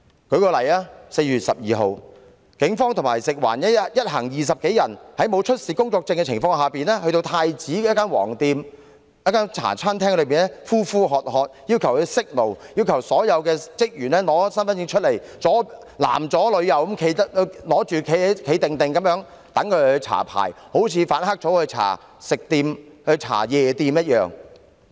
例如在4月12日，警方聯同食物環境衞生署，一行20多人在沒有出示工作證的情況下，前往太子一間屬"黃店"的茶餐廳，呼喝員工關上煮食爐，又要求所有人士出示身份證，男左女右地站於一旁讓他們檢查，情況一如反黑組巡查夜店。